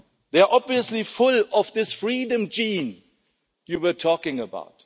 They are obviously full of this freedom gene you were talking about.